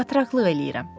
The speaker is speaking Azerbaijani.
Batraqlıq eləyirəm.